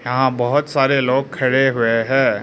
यहां बहुत सारे लोग खड़े हुए हैं।